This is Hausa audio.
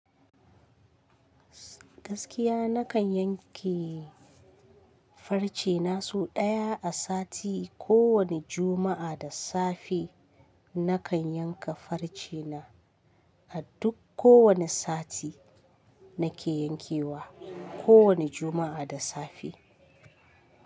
Gaskiya nakan yanke farce na sau ɗaya a sati. Ko wani Juma'a da safe nakan yanka farce na. A duk ko wane sati nake yankewa, ko wani Juma'a da safe.